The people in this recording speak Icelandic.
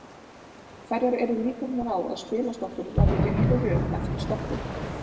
Hverjar eru líkurnar á að spilastokkur verði í réttri röð eftir stokkun?